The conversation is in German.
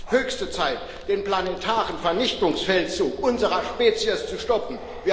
Es ist höchste Zeit, den planetaren Vernichtungsfeldzug unserer Spezies zu stoppen.